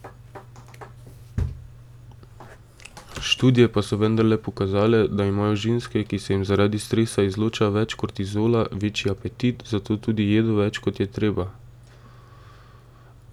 Študije pa so vendarle pokazale, da imajo ženske, ki se jim zaradi stresa izloča več kortizola, večji apetit, zato tudi jedo več, kot je treba.